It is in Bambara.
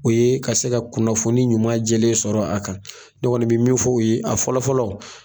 O ye ka se ka kunnafoni ɲuman jɛlen sɔrɔ k'a far'a kan, ne kɔni bɛ min fɔ u ye a fɔlɔ fɔlɔ